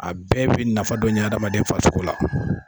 A bɛɛ bi nafa dɔ ɲɛ adamaden farisogo la